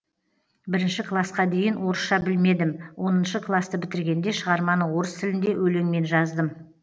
бірінші класқа дейін орысша білмедім оныншы класты бітіргенде шығарманы орыс тілінде өлеңмен жаздым